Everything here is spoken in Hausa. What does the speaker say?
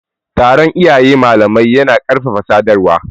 Taron iyaye-malamai yana ƙarfafa sadarwa